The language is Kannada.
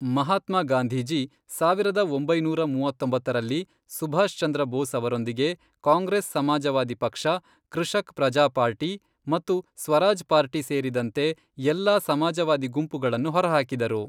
ಮಹಾತ್ಮಾ ಗಾಂಧೀಜಿ, ಸಾವಿರದ ಒಂಬೈನೂರ ಮೂವತ್ತೊಂಬತ್ತರಲ್ಲಿ ಸುಭಾಷ್ ಚಂದ್ರ ಬೋಸ್ ಅವರೊಂದಿಗೆ ಕಾಂಗ್ರೆಸ್ ಸಮಾಜವಾದಿ ಪಕ್ಷ, ಕೃಷಕ್ ಪ್ರಜಾ ಪಾರ್ಟಿ, ಮತ್ತು ಸ್ವರಾಜ್ ಪಾರ್ಟಿ ಸೇರಿದಂತೆ ಎಲ್ಲಾ ಸಮಾಜವಾದಿ ಗುಂಪುಗಳನ್ನು ಹೊರಹಾಕಿದರು.